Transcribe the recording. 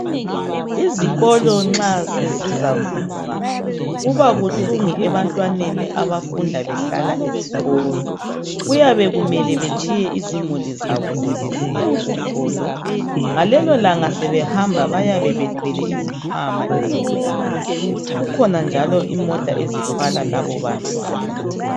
Izikolo nxa sezizavulwa kuba buhlungu ebantwaneni abafunda behlala esikolo. Kuyabe kumele betshiye izimuli zabo sebesiya esikolo. Ngalelo langa sebehamba bayabe bethwele izikhwama ezinkulu. Kukhona njalo imota ezithwala labo bantwana.